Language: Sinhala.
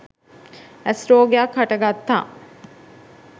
ඇස් රෝගයක් හට ගත්තා.